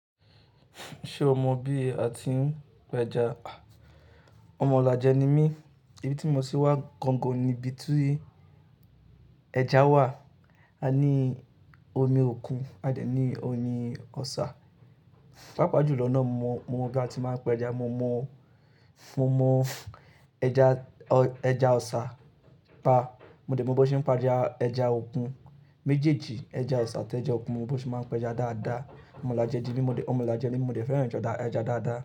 Ṣé o mọ bí a ti ń pa ẹja? Ọmọ Ìlajẹ ni mí, ibi tí mo ti wá gangan ni ibi tí ẹja wà. A ní omi òkun, a dẹ̀ ní omi ọ̀sá. Páàpá jùlọ náà mo mọ bí a ti máa ń pẹja. Mo mọ fún, mo mọ ẹja, ẹja ọ̀sá, pa. Mo dẹ̀ mọ bí wọ́n ṣe ń pa ẹja, ẹja òkun. Méjèèjì ẹja ọ̀sá àti ẹja òkun mo bí wọ́n ṣe máa ń pa ẹja dáadáa. Ọmọ ọlajẹ di mi, mo dẹ̀, ọmọ ọlajẹ ni mi mo dẹ̀ fẹ́ràn ẹja dáadáa.